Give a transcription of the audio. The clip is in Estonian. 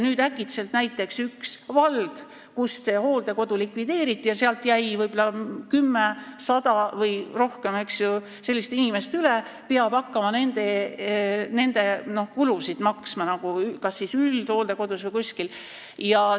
Äkitselt peab näiteks üks vald, kus see hooldekodu likvideeriti ja kus jäi võib-olla 10, 100 või rohkem sellist inimest üle, hakkama nende kulusid kinni maksma kas siis üldhooldekodus või kuskil mujal.